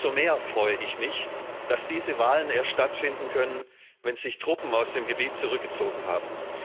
Noch mehr freue ich mich, dass diese Wahlen erst stattfinden können, wenn sich Truppen aus dem Gebiet zurückgezogen haben.